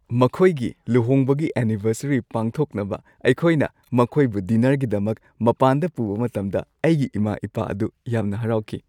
ꯃꯈꯣꯏꯒꯤ ꯂꯨꯍꯣꯡꯕꯒꯤ ꯑꯦꯅꯤꯚꯔꯁꯔꯤ ꯄꯥꯡꯊꯣꯛꯅꯕ ꯑꯩꯈꯣꯏꯅ ꯃꯈꯣꯏꯕꯨ ꯗꯤꯟꯅꯔꯒꯤꯗꯃꯛ ꯃꯄꯥꯟꯗ ꯄꯨꯕ ꯃꯇꯝꯗ ꯑꯩꯒꯤ ꯏꯃꯥ-ꯏꯄꯥ ꯑꯗꯨ ꯌꯥꯝꯅ ꯍꯔꯥꯎꯈꯤ꯫